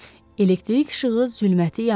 Elektrik işığı zülməti yardı.